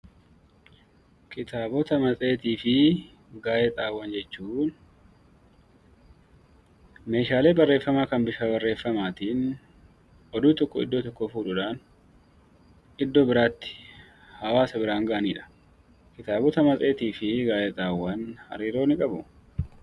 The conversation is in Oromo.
Kitaabota, matseetii fi gaazeexaawwan jechuun meeshaalee barreeffamaa kan bifa barreeffamaatiin oduu tokko iddoo tokkoo fuudhuudhaan iddoo biraatti hawaasa biraan ga'anii dha. Kitaabota, matseetii fi gaazeexaawwan hariiroo ni qabu.